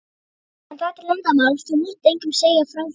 En þetta er leyndarmál, þú mátt engum segja frá því.